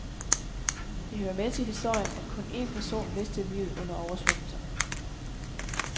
Det hører med til historien, at kun en person mistede livet under oversvømmelserne.